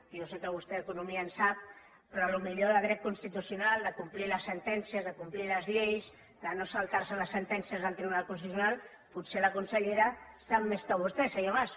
jo sé que vostè d’economia en sap però potser de dret constitucional de complir les sentències de complir les lleis de no saltar se les sentències del tribunal constitucional potser la consellera en sap més que vostè senyor mas